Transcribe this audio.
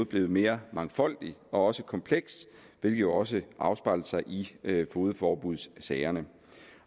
blevet mere mangfoldigt og også komplekst hvilket også afspejler sig i fogedforbudssagerne